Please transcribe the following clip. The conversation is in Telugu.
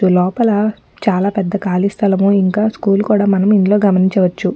లోపల చాలా పెద్ద కాలి స్థలము ఇంకా స్కూల్ కూడా మనం ఇందులో గమనించవచ్చు .